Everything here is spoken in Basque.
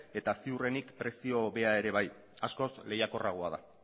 eta ziurrenik prezio hobea ere bai askoz lehiakorragoa da